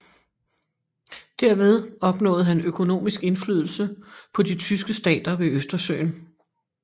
Derved opnåede han økonomisk indflydelse på de tyske stater ved Østersøen